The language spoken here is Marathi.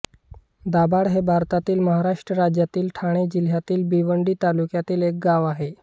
दाभाड हे भारतातील महाराष्ट्र राज्यातील ठाणे जिल्ह्यातील भिवंडी तालुक्यातील एक गाव आहे